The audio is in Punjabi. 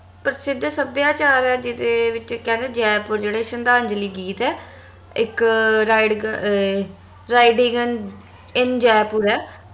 ਪ੍ਰਸਿੱਧ ਸੱਭਿਆਚਾਰ ਆ ਜਿਹਦੇ ਵਿਚ ਕਹਿੰਦੇ ਜੈਪੁਰ ਜਿਹੜੇ ਸ਼ਰਧਾਂਜਲੀ ਗੀਤ ਆ ਇਕ red gun in jaipur ਆ